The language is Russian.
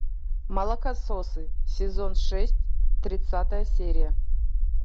молокососы сезон шесть тридцатая серия